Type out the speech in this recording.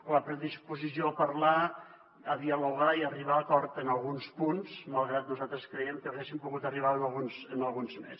la predisposició a parlar a dialogar i a arribar a acords en alguns punts malgrat que nosaltres creiem que hi hauríem pogut arribar en alguns més